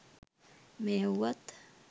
මෙය වුවත්